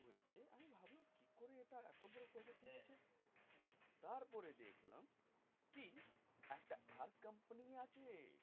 তারপরে দেখলাম কি একটা একটা company আছে